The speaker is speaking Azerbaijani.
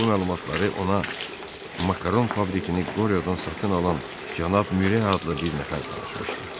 Bu məlumatları ona Makaron fabrikini Qoryodan satın alan cənab Mure adlı bir nəfər danışmışdı.